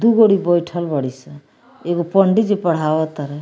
दु गोड़ी बइठल बाड़ी सं एगो पंडिजी पढ़ाव तरय।